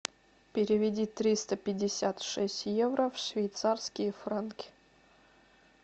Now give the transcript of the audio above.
переведи триста пятьдесят шесть евро в швейцарские франки